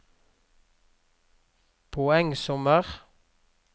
poengsummer